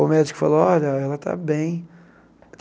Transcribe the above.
O médico falou, olha, ela está bem.